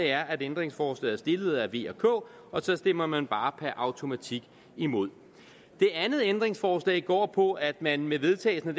er at ændringsforslaget er stillet af v og k og så stemmer man bare per automatik imod det andet ændringsforslag går på at man med vedtagelsen af